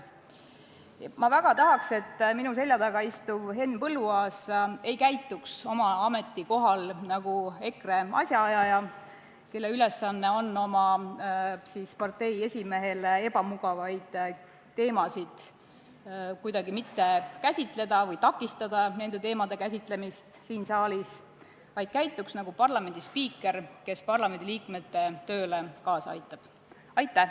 Ma väga tahaks, et minu selja taga istuv Henn Põlluaas ei käituks oma ametikohal nagu EKRE asjaajaja, kelle ülesanne on oma partei esimehele ebamugavaid teemasid kuidagi mitte käsitleda või takistada nende teemade käsitlemist siin saalis, vaid käituks nagu parlamendi spiiker, kes parlamendiliikmete tööle kaasa aitab.